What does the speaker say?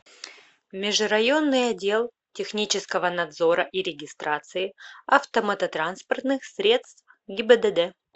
межрайонный отдел технического надзора и регистрации автомототранспортных средств гибдд